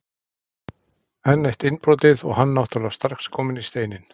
Enn eitt innbrotið og hann náttúrulega strax kominn í Steininn.